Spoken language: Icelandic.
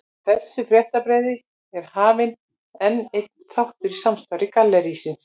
Með þessu fréttabréfi er hafinn enn einn þáttur í starfsemi gallerísins.